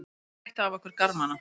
Þeir tættu af okkur garmana.